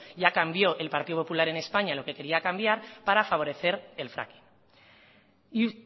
ya cambió el partido popular en españa lo que quería cambiar para favorecer el fracking y